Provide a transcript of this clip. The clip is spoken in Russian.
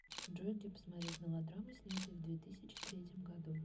джой где посмотреть мелодрамы снятые в две тысяче третьим году